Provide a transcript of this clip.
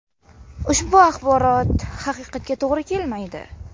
Ushbu axborot haqiqatga to‘g‘ri kelmaydi.